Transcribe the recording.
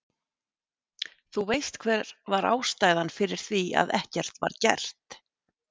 Þú veist hver var ástæðan fyrir því, að ekkert var gert?